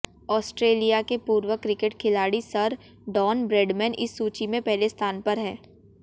Australia के पूर्व cricket खिलाड़ी सर डॉन ब्रैडमैन इस सूची में पहले स्थान पर हैं